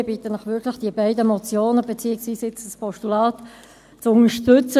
Ich bitte Sie wirklich, die beiden Motionen, beziehungsweise jetzt ein Postulat , zu unterstützen.